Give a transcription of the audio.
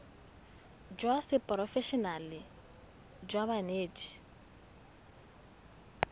jwa seporofe enale jwa banetshi